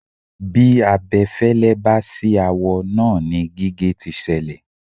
Bí abẹfẹ́lẹ́ bá ṣì awọ náà ni gígé tí ṣẹlẹ̀.